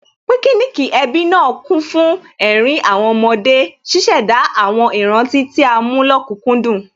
Píkíníìkì ẹbí náà kún fún ẹ̀rín àwọn ọmọdé, ṣíṣẹ̀dá àwọn ìrántí tí a mú lókùkúndùn